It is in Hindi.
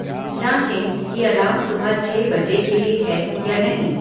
जाँचे कि अलार्म सुबह छह बजे के लिए है या नहीं